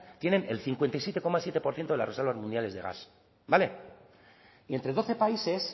tienen el cincuenta y siete coma siete por ciento de las reservas mundiales de gas vale y entre doce países